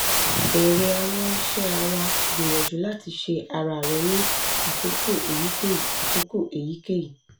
ere gbìyànjú lati se ara rẹ ni àkókò èyíkéyí àkókò èyíkéyí